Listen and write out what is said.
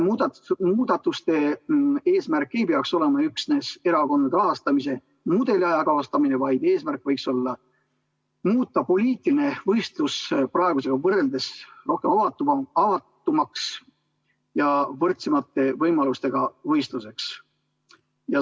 Muudatuste eesmärk ei peaks olema üksnes erakondade rahastamise mudeli ajakohastamine, vaid eesmärk võiks olla muuta poliitiline võistlus praegusega võrreldes rohkem avatuks ja võrdsemate võimalustega võistluseks.